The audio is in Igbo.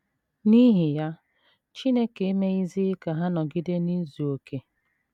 N’ihi ya, chineke emeghịzi ka ha nọgide n’izu okè.